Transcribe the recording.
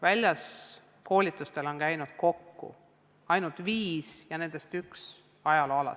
Väljas koolitustel on käinud kokku ainult viis õpetajat ja nendest üks ajaloo alal.